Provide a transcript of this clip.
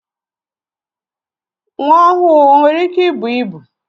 Nwa ọhụụ o nwere ike ịbụ ịbụ?